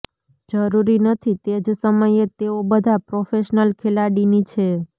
જરૂરી નથી તે જ સમયે તેઓ બધા પ્રોફેશનલ ખેલાડીની છે